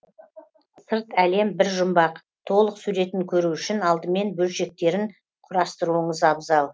сырт әлем бір жұмбақ толық суретін көру үшін алдымен бөлшектерін құрастыруыңыз абзал